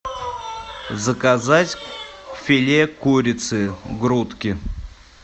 заказать филе курицы грудки